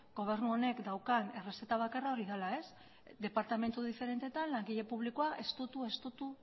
gobernu honek daukan errezeta bakarra hori dela departamentu diferenteetan langile publikoa estutu estutu